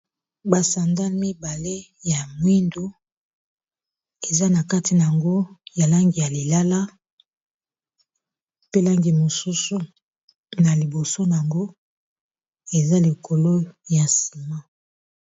basandale mibale ya mwindu eza na kati na yango ya langi ya lilala pe langi mosusu na liboso n yango eza likolo ya nsima